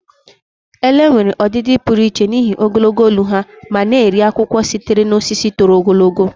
Ele nwere ọdịdị pụrụ iche n'ihi ogologo olu ha ma na-eri akwụkwọ sitere na osisi toro ogologo.